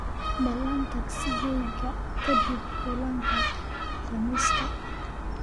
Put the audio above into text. ballan tagsigeyga kadib kulanka Khamiista